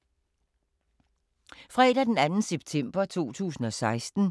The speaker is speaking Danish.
Fredag d. 2. september 2016